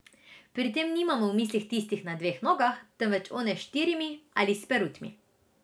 Pri tem nimamo v mislih tistih na dveh nogah, temveč one s štirimi ali s perutmi.